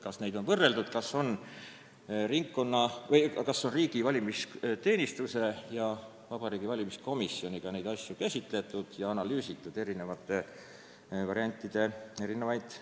Ma ei kuulnud, kas võimalusi on võrreldud, kas on riigi valimisteenistuse ja Vabariigi Valimiskomisjoniga neid asju käsitletud ja analüüsitud erinevate variantide nüansse.